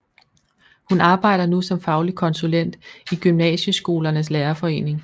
Hun arbejder nu som faglig konsulent i Gymnasieskolernes Lærerforening